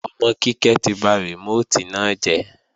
Ọmọ Kíkẹ́ ti ba rìmóòtì náà jẹ́